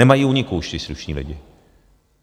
Nemají úniku už ti slušní lidi.